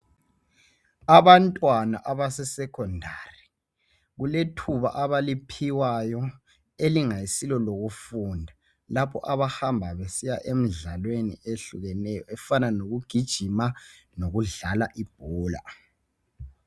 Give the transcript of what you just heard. Abantwana abase secondary. Kulethuba abaliphiwayo elingasilo lokufunda lapho abahamba besiya emdlaweni ehlukeneyo efana lokugijima lokudlala ibhola.